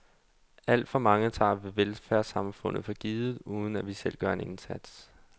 Alt for mange tager velfærdssamfundet for givet, uden at vi selv gør en indsats.